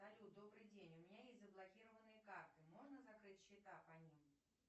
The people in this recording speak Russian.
салют добрый день у меня есть заблокированные карты можно закрыть счета по ним